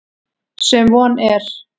Sem von er.